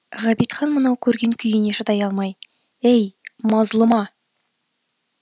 ғабитхан мынау көрген күйіне шыдай алмай ей мазлұма